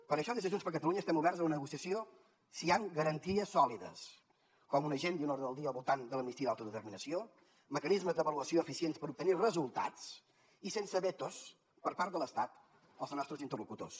per això des de junts per catalunya estem oberts a la negociació si hi han garanties sòlides com un agenda i un ordre del dia al voltant de l’amnistia i l’autodeterminació mecanismes d’avaluació eficients per obtenir resultats i sense vetos per part de l’estat els nostres interlocutors